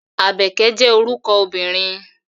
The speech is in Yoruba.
Àbẹ̀kẹ́ jẹ́ orúkọ obìnrin.